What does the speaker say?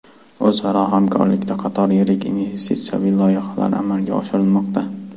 O‘zaro hamkorlikda qator yirik investitsiyaviy loyihalar amalga oshirilmoqda.